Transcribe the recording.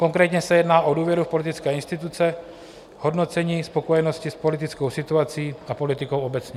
Konkrétně se jedná o důvěru v politické instituce, hodnocení spokojenosti s politickou situací a politikou obecně.